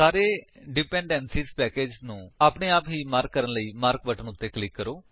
ਸਾਰੇ ਡਿਪੈਂਡੈਂਸੀਆਂ ਪੈਕੇਜਸ ਨੂੰ ਆਪਣੇ ਆਪ ਹੀ ਮਾਰਕ ਕਰਨ ਲਈ ਮਾਰਕ ਬਟਨ ਉੱਤੇ ਕਲਿਕ ਕਰੋ